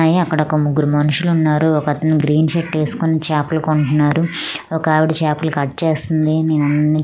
న్నాయి అక్కడ ముగ్గురు మనుషులున్నారు ఒకతను గ్రీన్ షర్ట్ ఏస్కొని చాపలు కొంటున్నారు ఒకావిడ చేపలు కట్ చేస్తుంది నేనన్నీ--